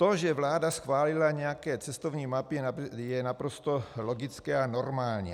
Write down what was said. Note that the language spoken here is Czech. To, že vláda schválila nějaké cestovní mapy, je naprosto logické a normální.